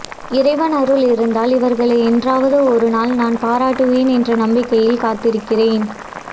இறைவன் அருள் இருந்தால் இவர்களை என்றாவது ஒருநாள் நான் பாராட்டுவேன் என்ற நம்பிக்கையில் காத்திருக்கிறேன்